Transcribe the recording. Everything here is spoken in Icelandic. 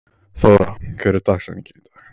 Þóra, hver er dagsetningin í dag?